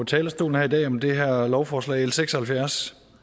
talerstolen her i dag om det her lovforslag l seks og halvfjerds